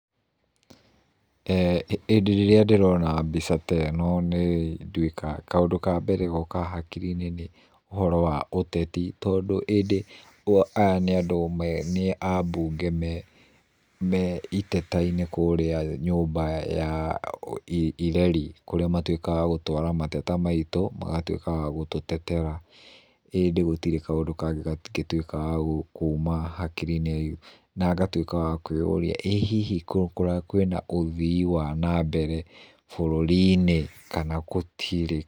Ĩ ĩndĩ ĩrĩa ndĩrona mbica ta ĩno, nĩ nduĩka, kaũndũ ka mbere gokaga hakiri-inĩ nĩ ũhoro wa ũteti, tondũ ĩndĩ aya nĩ ambunge me iteta-inĩ kũrĩa nyũmba ya ireri kũrĩa matuĩkaga a gũtwara mateta maitũ, magatuĩka a gũtũtetera. ĩndĩ gutirĩ kaũndũ kangĩ gangĩtuĩka ga kuma hakiri-inĩ na ngatuĩka wa kũĩũria ĩĩ hihi kwĩna ũthii wa nambere bũrũri-inĩ kana gũtirĩ.